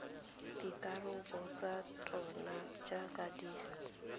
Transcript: dikarabo tsa tsona jaaka di